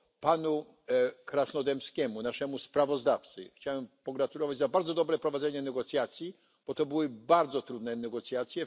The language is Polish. Panu Krasnodębskiemu, naszemu sprawozdawcy, chciałem pogratulować bardzo dobrego prowadzenia negocjacji, bo były to bardzo trudne negocjacje.